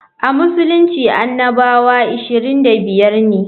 A Musulunci annabawa 25 ne.